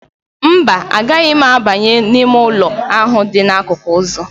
Mba, a gaghị m abanye n'ime ụlọ ahụ dị n'akụkụ ụzọ.